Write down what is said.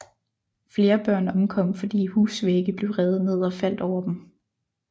Flere børn omkom fordi husvægge blev revet ned og faldt over dem